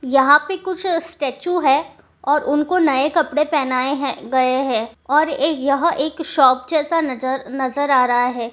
यहां पे कुछ स्टेच्यु है और उनको नए कपड़े पहनाए है गये है और यह एक शॉप जैसा नजर-नजर आ रहा है।